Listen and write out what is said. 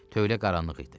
Tövlə qaranlıq idi.